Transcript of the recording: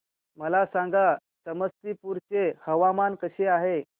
मला सांगा समस्तीपुर चे हवामान कसे आहे